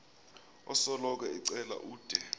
osoloko ecela ude